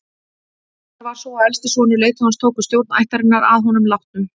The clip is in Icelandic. Venjan var sú að elsti sonur leiðtogans tók við stjórn ættarinnar að honum látnum.